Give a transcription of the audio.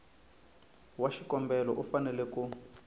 wa xikombelo u fanele ku